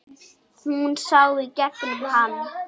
Hún sá í gegnum hann.